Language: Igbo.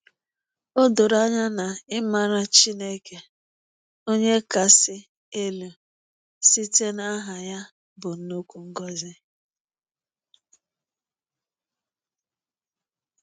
O doro anya na ịmara Chineke Onye Kasị Elu site n’aha ya bụ nnukwu ngọzi.